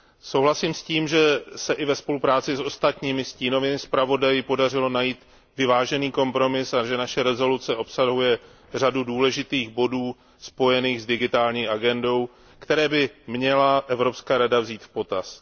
Souhlasím s tím, že se i ve spolupráci s ostatními stínovými zpravodaji podařilo najít vyvážený kompromis a že naše rezoluce obsahuje řadu důležitých bodů spojených s Digitální agendou, které by měla Evropská rada vzít v potaz.